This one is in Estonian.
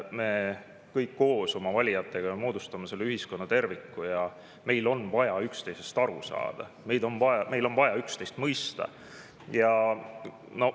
Me kõik koos oma valijatega ju moodustame selle ühiskonna kui terviku ja meil on vaja üksteisest aru saada, meil on vaja üksteist mõista.